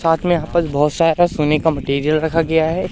साथ में यहां पर बहुत सारा सोने का मैटेरियल रखा गया है।